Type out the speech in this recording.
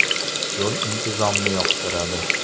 Yo‘l intizomni yoqtiradi.